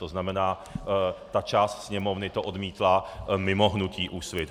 To znamená, ta část Sněmovny to odmítla mimo hnutí Úsvit.